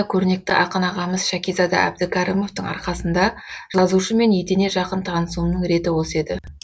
көрнекті ақын ағамыз шәкизада әбдікәрімовтың арқасында жазушымен етене жақын танысуымның реті осы еді